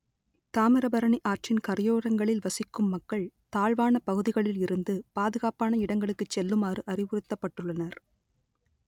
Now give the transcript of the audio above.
தாமிரபரணி ஆற்றின் கரையோரங்களில் வசிக்கும் மக்கள் தாழ்வான பகுதிகளில் இருந்து பாதுகாப்பான இடங்களுக்கு செல்லுமாறு அறிவுறுத்தப்பட்டுள்ளனர்